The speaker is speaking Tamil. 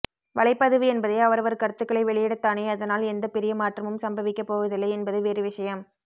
வலைப்பதிவு என்பதே அவரவர் கருத்துகளை வெளியிடத்தானே அதனால் எந்த பெரிய மாற்றமும் சம்பவிக்கப் போவதில்லை என்பது வேறு விஷயம்